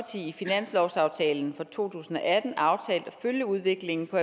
i finanslovsaftalen for to tusind og atten aftalt at følge udviklingen på